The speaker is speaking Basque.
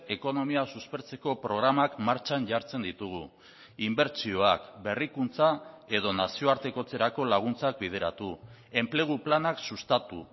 ekonomia suspertzeko programak martxan jartzen ditugu inbertsioak berrikuntza edo nazioartekotzerako laguntzak bideratu enplegu planak sustatu